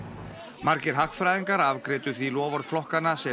margir hagfræðingar afgreiddu því loforð flokkanna sem